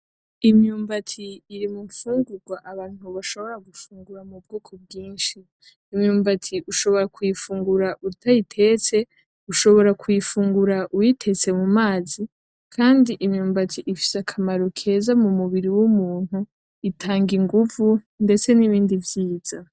Imyumbati iri mugifungurwa Abantu bashobora gufungura mu bwoko bwinshi. Imyumbati ushobora kuyifungura utayitetse, ushobora kuyifungura uyitetse mumazi, Kandi imyumbati ifise akamaro mumubiri w'umuntu utanga inguvu.